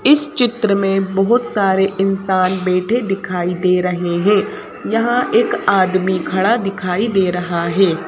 इस चित्र में बहुत सारे इंसान बैठे दिखाई दे रहे हैं यहाँ एक आदमी खड़ा दिखाई दे रहा है।